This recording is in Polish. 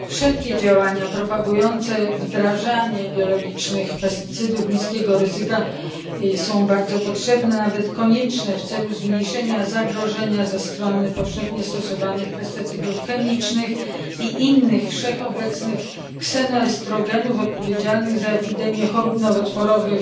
Wszelkie działania propagujące wdrażanie biologicznych pestycydów niskiego ryzyka są bardzo potrzebne, nawet konieczne w celu zmniejszenia zagrożenia ze strony powszechnie stosowanych pestycydów chemicznych i innych wszechobecnych ksenoestrogenów, odpowiedzialnych za epidemię chorób nowotworowych,